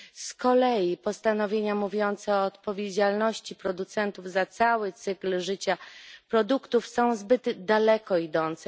Z kolei postanowienia mówiące o odpowiedzialności producentów za cały cykl życia produktów są zbyt daleko idące.